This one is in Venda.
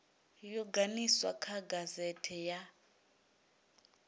yo ganiswa kha gazete ya